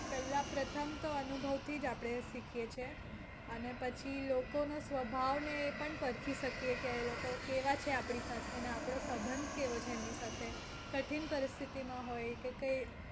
પેહલા પ્રથમ તો અનુભવથી જ આપણે શીખીએ છીએ અને પછી લોકો નો સ્વભાવ ને એ પણ પરખી શકીએ કે એ લોકો કેવા છે આપણી સાથે ને આપણો સંબંધ કેવો છે એમની સાથે. કઠિન પરિસ્થિતિ માં હોય કે કઈ